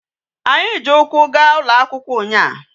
Anyi ji ukwu ga ulo akwukwo unya